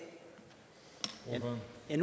er